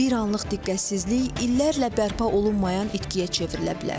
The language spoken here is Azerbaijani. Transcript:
Bir anlıq diqqətsizlik illərlə bərpa olunmayan itkiyə çevrilə bilər.